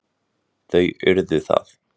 Þau urðu það.